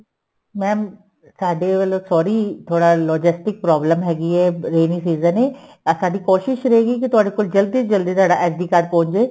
mam ਸਾਡੇ ਵੱਲੋਂ sorry ਥੋੜਾ logistic problem ਹੈਗੀ ਏ rainy season ਏ ਅਹ ਸਾਡੀ ਕੋਸ਼ਿਸ ਰਹੇਗੀ ਕੀ ਤੁਹਾਡਾ ਕੋਲ ਜਲਦੀ ਤੋਂ ਜਲਦੀ ਤੁਹਾਡਾ SD card ਪਹੁੰਚ ਜੇ